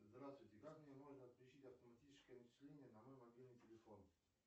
здравствуйте как мне можно отключить автоматическое начисление на мой мобильный телефон